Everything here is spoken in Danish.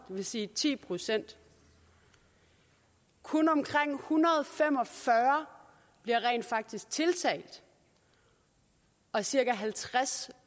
vil sige ti procent kun omkring en hundrede og fem og fyrre bliver rent faktisk tiltalt og cirka halvtreds